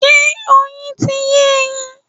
Ṣé Oyin ti yé ẹyin?